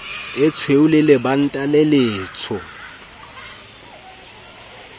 etshweu e lebanta le letsho